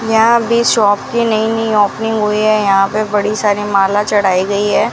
यहाँ अभी शॉप की नई-नई ओपनिंग हुई है यहाँ पे बड़ी सारी माला चढ़ाई गयी है।